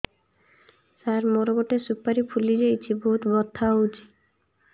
ସାର ମୋର ଗୋଟେ ସୁପାରୀ ଫୁଲିଯାଇଛି ବହୁତ ବଥା ହଉଛି